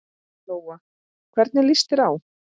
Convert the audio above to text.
Lóa: Hvernig líst þér á?